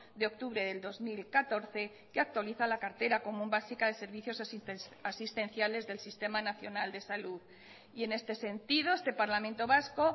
de octubre del dos mil catorce que actualiza la cartera común básica de servicios asistenciales del sistema nacional de salud y en este sentido este parlamento vasco